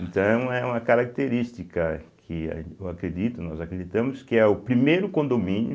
Então é uma característica que eu acredito, nós acreditamos, que é o primeiro condomínio